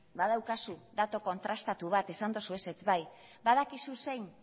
badaukazu datu kontrastatu bat esan dozu ezetz bai badakizu zein